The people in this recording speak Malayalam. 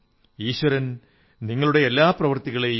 oh my fellow citizens in giving you receive happiness